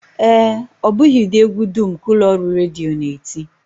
Ee, ọ bụghị ụdị egwu dum ka ụlọọrụ redio na-eti